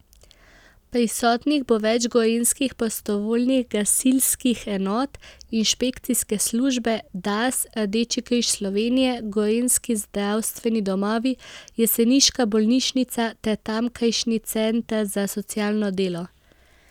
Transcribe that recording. Prisotnih bo več gorenjskih prostovoljnih gasilskih enot, inšpekcijske službe, Dars, Rdeči križ Slovenije, gorenjski zdravstveni domovi, jeseniška bolnišnica ter tamkajšnji center za socialno delo.